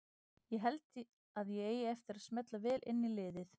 Ég held að ég eigi eftir að smella vel inn í liðið.